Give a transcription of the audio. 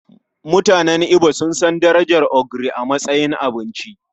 Mutanen Igbo sun san darajar ogiri a matsayin abinci.